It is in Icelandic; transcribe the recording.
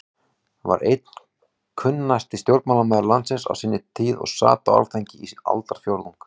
var einn kunnasti stjórnmálamaður landsins á sinni tíð og sat á Alþingi í aldarfjórðung.